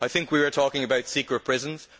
I think we are talking about secret prisons.